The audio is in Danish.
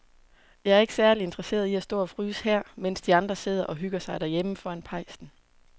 Jeg er ikke særlig interesseret i at stå og fryse her, mens de andre sidder og hygger sig derhjemme foran pejsen.